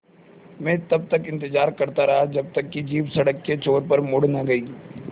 मैं तब तक इंतज़ार करता रहा जब तक कि जीप सड़क के छोर पर मुड़ न गई